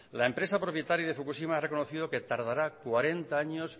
la empresa propietaria de fukushima ha reconocido que tardará cuarenta años